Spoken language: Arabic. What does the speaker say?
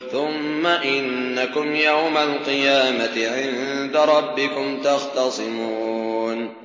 ثُمَّ إِنَّكُمْ يَوْمَ الْقِيَامَةِ عِندَ رَبِّكُمْ تَخْتَصِمُونَ